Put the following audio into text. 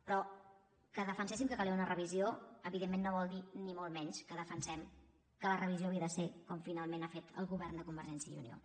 però que defenséssim que calia una revisió evidentment no vol dir ni molt menys que defensem que la revisió havia de ser com finalment ha fet el govern de convergència i unió